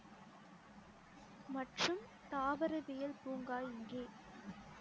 மற்றும் தாவரவியல் பூங்கா இங்கே